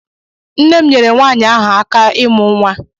Nne m nyere nwaanyị ahụ aka ịmụ nwa.